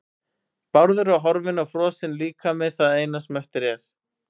Bárður er horfinn og frosinn líkami það eina sem eftir er.